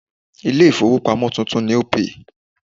Ilé ìfowópamọ́ tuntun ni Opay.